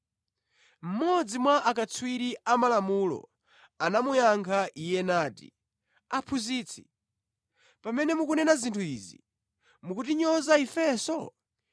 Mmodzi mwa akatswiri a Malamulo anamuyankha Iye nati, “Aphunzitsi, pamene mukunena zinthu izi, mukutinyoza ifenso?”